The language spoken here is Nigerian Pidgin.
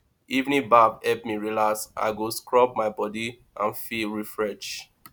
evening bath help me relax i go scrub my body and feel refrethed